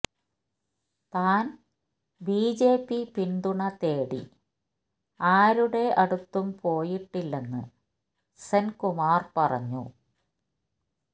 താന് ബിജെപി പിന്തുണ തേടി ആരുടെ അടുത്തും പോയിട്ടില്ലെന്ന് സെന്കുമാര് പറഞ്ഞു